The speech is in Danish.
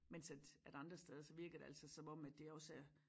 Mens at at andre steder så virker det altså som om at det også er